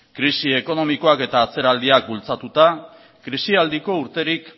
krisi ekonomikoak eta atzeraldiak bultzatuta krisialdiko urterik